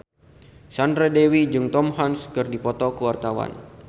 Sandra Dewi jeung Tom Hanks keur dipoto ku wartawan